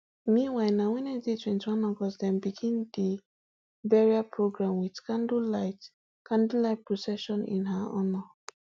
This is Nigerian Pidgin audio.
meanwhile na wednesday twenty-one august dem begin di burial program wit candlelight candlelight procession in her honour